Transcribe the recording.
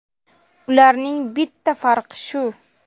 Ularning bitta farqi shu.